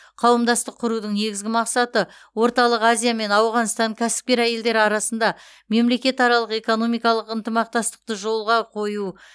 қауымдастық құрудың негізгі мақсаты орталық азия мен ауғанстан кәсіпкер әйелдері арасында мемлекетаралық экономикалық ынтымақтастықты жолға қою